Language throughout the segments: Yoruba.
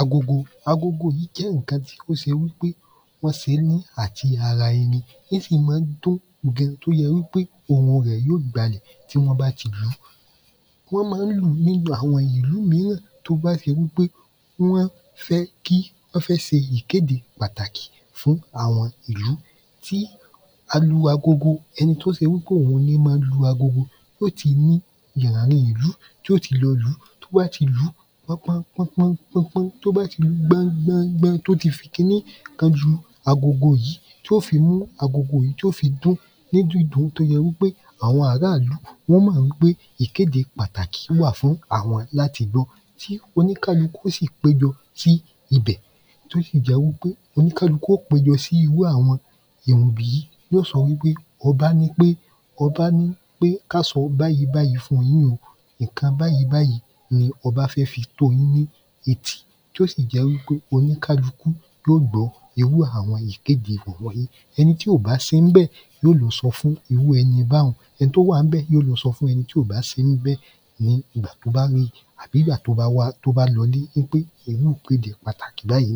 Agogo Agogo jẹ́ ǹkan tí ó se wí ṕe wọ́n se é ní àjí-ara-ẹni. Ín sì má ń dún gan tó se wí pé ohun rẹ̀ yó gbalẹ̀ tí wọ́n bá ti lùú. Wọ́n má ń lùú ní àwọn ìlú míràn tó bá se wí pé wọ́n fẹ́ se ìkéde pàtàkì fún àwọn ìlú. Tí alu agogo, ẹni tí se wí pé òun ní má ń lu agogo, ó ti ní yìranrin ìlú t’o ti lọ lùú. T’ó bá ti lùú, pọ́pọ́n pọ́pọ́n pọ́pọ́n, t’ó bá ti lú gbọ́n gbọ́n gbọ́n t’ó ti fi kiní kan ju agogo yìí tí ó fi mú agogo yìí tí ó fi dún ní dídún t’ó yẹ wí pé àwọn ará ‘lú wọ́n mọ̀ wí pé ìkéde pàtàkì wà fún àwọn l’áti gbọ́ tí oníkálukú sì péjọ sí ibẹ̀ t’ó sì jẹ́ wí pé oníkálukú ó péjọ sí irú àwọn ‘bi yí Y’ó sọ wí pé ọbá ní pé ká sọ báyí báyí fún yín o. ìnkan báyí báyí ni ọbá fẹ́ fi tó yín ni etí. Tí ó sì jẹ́ wí pé oníkálukú yí ó gbọ irú àwọn ìkéde wọ̀n wọ̀n yí. Ẹni tí ò bá sí ń bẹ̀, y’ó lọ sọ fún irú ẹni báhun Ẹni t’ó wà ń bẹ̀ y’o lọ sọ fún ẹni tí ò sí ń bẹ̀ ní ìgbà t’ó bá ri àbí ‘gbá t’ó ba lọ ‘lé ín pe irú ìkéde pàtàkì báyí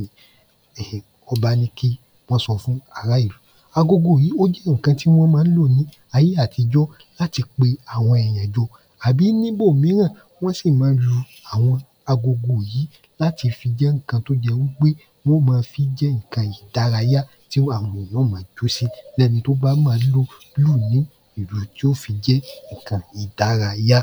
ọba ni kí wọ́n so fún ará ìlú. Agogo yìí ó jẹ́ ìnkan tí wọ́n má ń lò ní ayé àtijọ́ l’áti pe àwọn èyàn jọ. Àbí ni’bo míràn wón sì ma lu àwọn agogo yìí l’áti mfi jẹ́ ìnkan t’ó jẹ wí pé wón ma fi jẹ́ ìnkan ìdárayá tí àwọn èyàn ó ma jọ́ sí l’ẹ́ni t’ó bá mọ̀ọ́ lù lúù ní ìlù tí ó fi jẹ́ ìnkan ìdárayá.